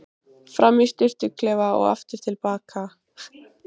Fram í sturtuklefa og aftur til baka.